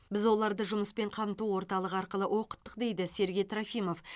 біз оларды жұмыспен қамту орталығы арқылы оқыттық дейді сергей трофимов